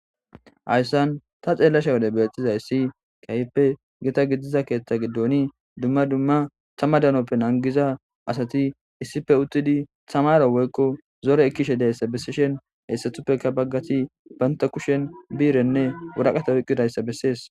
Hayssan ta xeellasha wode bettizayssi kayipe gita gidiza keeththa giddoni dumma dumma tama danoppe nangiza asati issipe uttidi tamara woykko zore ekkishe dayssa bessishen heessatuppeka baggati banta kushen biirenne wuraqata oyqqidayssa bessees.